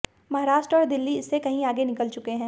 महाराष्ट्र और दिल्ली इससे कहीं आगे निकल चुके हैं